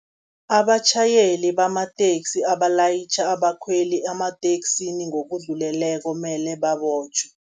Abatjhayeli bamateksi abalayitjha abakhweli amateksini ngokudluleleko, mele babotjhwe.